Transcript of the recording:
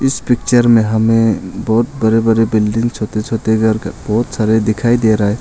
इस पिक्चर में हमें बहुत बड़े बड़े बिल्डिंग छोटे छोटे घर का बहोत सारे दिखाई दे रहा है।